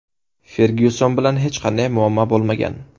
Fergyuson bilan hech qanday muammo bo‘lmagan”.